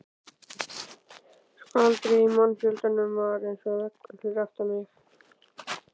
Skvaldrið í mannfjöldanum var eins og veggur fyrir aftan mig.